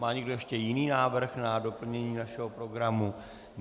Má někdo ještě jiný návrh na doplnění našeho programu?